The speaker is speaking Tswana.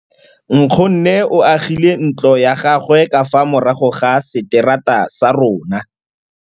Nkgonne o agile ntlo ya gagwe ka fa morago ga seterata sa rona.